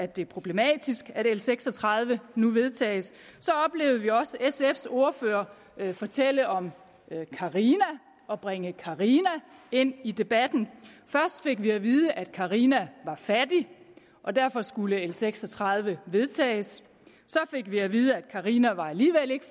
det er problematisk at l seks og tredive nu vedtages så oplevede vi også sfs ordfører fortælle om carina og bringe carina ind i debatten først fik vi at vide at carina var fattig og derfor skulle l seks og tredive vedtages så fik vi at vide at carina alligevel ikke